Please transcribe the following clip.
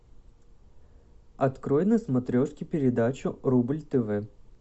открой на смотрешке передачу рубль тв